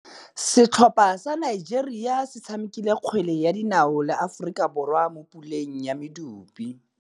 Setlhopha sa Nigeria se tshamekile kgwele ya dinaô le Aforika Borwa mo puleng ya medupe.